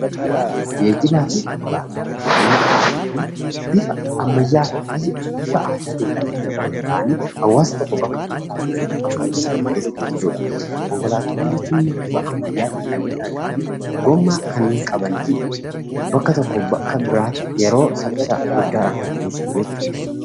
Geejibaa fi konkolaataawwan Bifa ammayyaa fi bifa aadaatin kan argaman ta'anii hawaasa tokko bakka biroo irraa fuudhanii bakka tokkotti kan geessan jechuudha. Konkolaataawwan jechuun immoo bifa ammayyaa ta'een kan argaman gommaa kan qabaniifi bakka tokkoo, bakka biraatti yeroo saffisaa guddaadhaan kan geessan jechuudha.